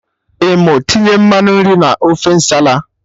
I mụ tinye mmanụ nri na ofe Nsala?